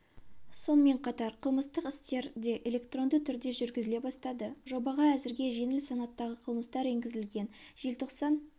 сонымен қатар қылмыстық істер де электронды түрде жүргізіле бастады жобаға әзірге жеңіл санаттағы қылмыстар енгізілген желтоқсан